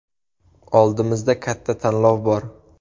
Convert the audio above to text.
Oldimizda katta tanlov bor.